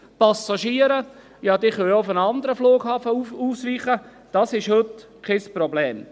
Die Passagiere können auch auf einen anderen Flughaben ausweichen, das ist heute kein Problem.